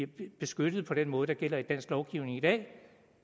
beskyttet på den måde der gælder i dansk lovgivning i dag